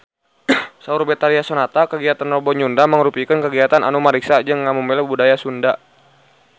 Saur Betharia Sonata kagiatan Rebo Nyunda mangrupikeun kagiatan anu ngariksa jeung ngamumule budaya Sunda